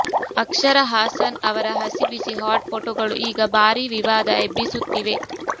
ಅಕ್ಷರಾ ಹಾಸನ್ ಅವರ ಹಸಿ ಬಿಸಿ ಹಾಟ್ ಫೋಟೋಗಳು ಈಗ ಬಾರೀ ವಿವಾದ ಎಬ್ಬಿಸುತ್ತಿವೆ